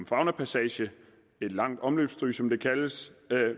faunapassage et langt omløbsstryg som det kaldes